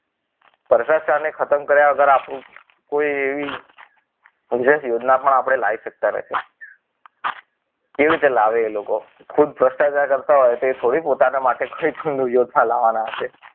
ભ્રષ્ટાચારને ખતમ કર્યા વગર આપણું કોઈ એવી કેવી રીતે લાવે એ લોકો ખુદ ભ્રષ્ટાચાર કરતા હોય તો એ થોડી પોતાને માટે કોઈ કોઈ પોતાનું લાવાના હશે.